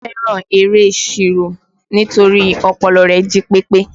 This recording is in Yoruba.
Bọlá fẹ́ràn eré ìṣirò nítorí ọpọlọ rẹ̀ jí pépé